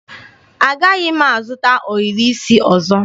Agaghị m azụta ohiri isi ọzọ.